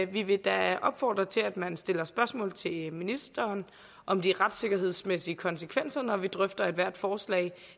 vi vil da opfordre til at man stiller spørgsmål til ministeren om de retssikkerhedsmæssige konsekvenser når vi drøfter ethvert forslag